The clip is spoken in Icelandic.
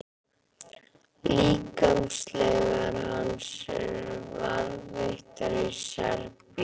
Líkamsleifar hans eru varðveittar í Serbíu.